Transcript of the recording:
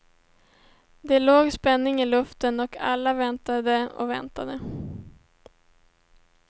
Det låg spänning i luften och alla väntade och väntade.